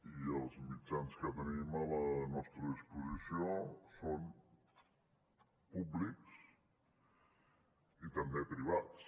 i els mitjans que tenim a la nostra disposició són públics i també privats